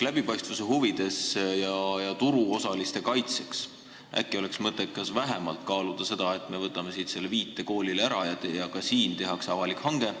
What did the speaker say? Läbipaistvuse huvides ja turuosaliste kaitseks oleks äkki mõttekas kaaluda vähemalt seda, et me võtame siit selle viite koolile ära ning et ka siin tehakse avalik hange.